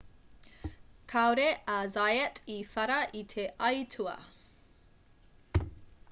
kāore a zayat i whara i te aitua